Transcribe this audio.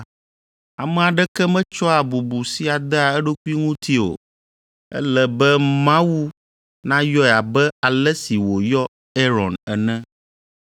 Ame aɖeke metsɔa bubu sia dea eɖokui ŋuti o; ele be Mawu nayɔe abe ale si wòyɔ Aron ene.